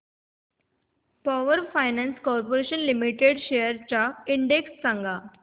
power finance corporation limited shares चा index सांगा